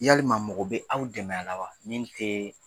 Yalilima mɔgɔ bɛ aw dɛmɛ a la wa min tɛ